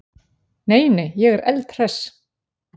Nei, nei, ég er eldhress.